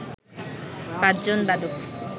পাঁচজন বাদক